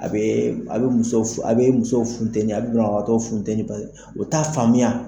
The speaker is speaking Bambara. A bɛ, a bɛ muso, a bɛ muso funtɛni a bɛ banabagatɔ funtɛ, pase o ta faamuya.